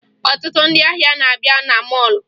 Ọtụtụ ndị ahịa na-abịa na mọọlụ